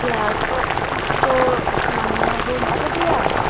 class o dow maney room obode aai.